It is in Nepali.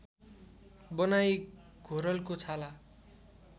बनाई घोरलको छाला